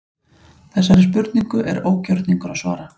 Þessari spurningu er ógjörningur að svara.